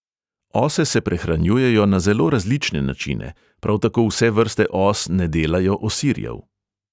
Ose se prehranjujejo na zelo različne načine, prav tako vse vrste os ne delajo osirjev.